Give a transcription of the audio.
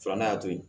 Filanan y'a to yen